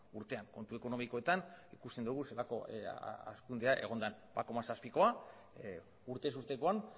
urtean kontu ekonomikoetan ikusten dugu zelako hazkundea egon den bat koma zazpikoa urtez urtekoan